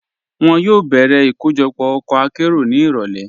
Wọn yóò bẹ̀rẹ̀ ikojọpọ ọkọ̀ àkéró ni irọ̀lẹ̀.